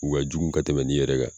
U ka jugu ka tɛmɛn nin yɛrɛ kan.